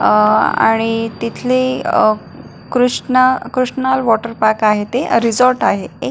अह आणि तिथले अ कृष्ण कृशनल वॉटर पार्क आहे ते रिसॉर्ट आहे ते --